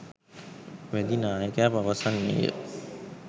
වැදි නායකයා පවසන්නේය